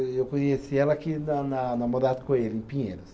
Eu conheci ela aqui na na na Morato Coelho, em Pinheiros.